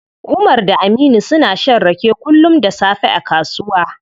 Umar da Aminu suna shan rake kullum da safe a kasuwa.